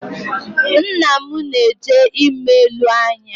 Nna m na-eje ime ule anya